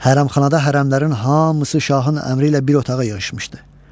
Hərəmxanada hərəmlərin hamısı şahın əmri ilə bir otağa yığışmışdı.